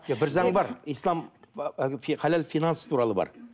бір заң бар ислам әлгі халал финанс туралы бар